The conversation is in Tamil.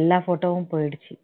எல்லா photo வும் போயிருச்சு